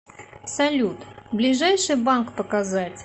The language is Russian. салют ближайший банк показать